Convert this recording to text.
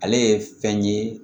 Ale ye fɛn ye